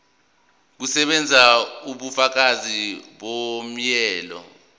kusebenza ubufakazi bomyalelo